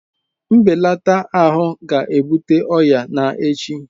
Mbelata ahụ ga-ebute ọrịa na echi